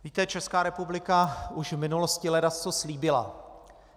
Víte, Česká republika už v minulosti ledasco slíbila.